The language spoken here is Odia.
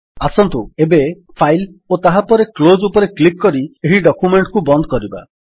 ଆସନ୍ତୁ ଏବେ ଫାଇଲ୍ ଓ ତାହାପରେ କ୍ଲୋଜ୍ ଉପରେ କ୍ଲିକ୍ କରି ଏହି ଡକ୍ୟୁମେଣ୍ଟ୍ କୁ ବନ୍ଦ କରିବା